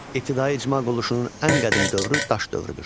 İbtidai icma quruluşunun ən qədim dövrü daş dövrüdür.